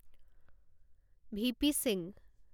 V P Singh